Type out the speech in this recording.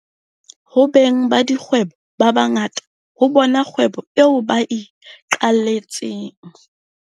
Ho beng ba dikgwebo ba ba ngata, ho bona kgwebo eo ba iqaletseng.